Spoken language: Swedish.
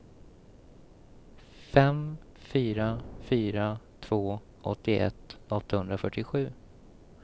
fem fyra fyra två åttioett åttahundrafyrtiosju